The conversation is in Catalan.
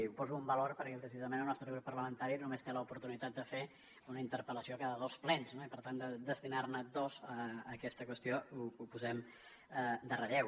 i ho poso en valor perquè precisament el nostre grup parlamentari només té l’oportunitat de fer una interpel·lació cada dos plens i per tant destinar ne dos a aquesta qüestió ho posem en relleu